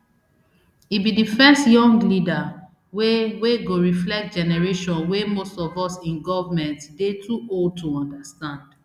e be di first young leader wey wey go reflect generation wey most of us in government dey too old to understand